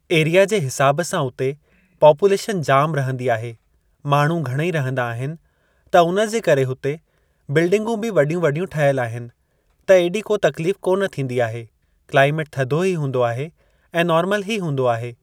Area जे हिसाब सां उते पोपुलेशन जाम रहंदी आहे, माण्हू घणई रहंदा आहिनि त उन जे करे उते बिल्डिगूं बि वॾियूं-वॾियूं ठहियल आहिनि त एॾी को तकलीफ़ कोन थींदी आहे क्लाइमेट थधो ही हूंदो आहे ऐं नोर्मल ही हूंदो आहे।